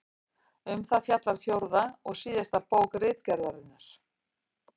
Um það fjallar fjórða og síðasta bók Ritgerðarinnar.